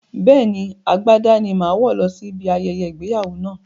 Bẹ́ẹ̀ni, agbádá ni màá wọ̀ lọ sí ibi ayẹyẹ ìgbéyàwó náà